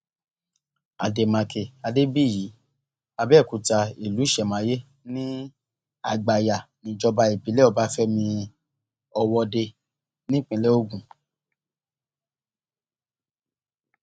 àdèmàkè adébíyí àbẹòkúta ìlú ìṣẹmáyé ní àgbáyànìjọba ìbílẹ ọbáfẹmi ọwọde nípínlẹ ogun